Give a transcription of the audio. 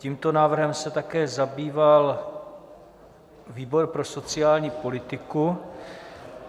Tímto návrhem se také zabýval výbor pro sociální politiku.